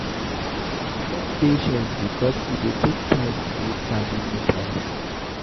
Get patience because e dey take time to build family ties